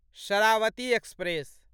Sharavati express